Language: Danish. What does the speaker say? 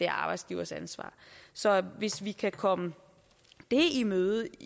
arbejdsgivers ansvar så hvis vi kan komme det i møde